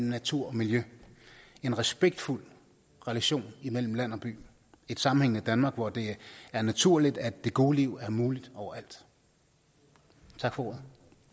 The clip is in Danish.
natur og miljø en respektfuld relation mellem land og by et sammenhængende danmark hvor det er naturligt at det gode liv er muligt overalt tak for